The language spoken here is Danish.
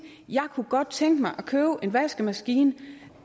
jeg kunne godt tænke mig at købe en vaskemaskine